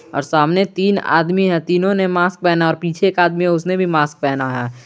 और सामने तीन आदमी है तीनों ने मास्क पहना और पीछे का आदमी उसने भी मास्क पहना है।